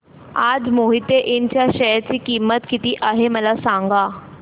आज मोहिते इंड च्या शेअर ची किंमत किती आहे मला सांगा